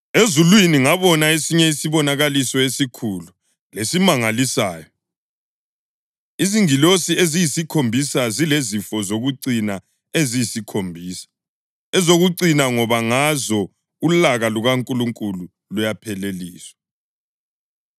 Ezulwini ngabona esinye isibonakaliso esikhulu lesimangalisayo: Izingilosi eziyisikhombisa zilezifo zokucina eziyisikhombisa, ezokucina ngoba ngazo ulaka lukaNkulunkulu luyapheleliswa.